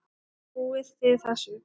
Trúið þið þessu?